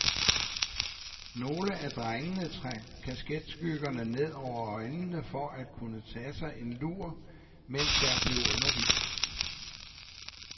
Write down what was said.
Nogle af drengene trak kasketskyggerne ned over øjnene for at kunne tage sig en lur, mens der blev undervist.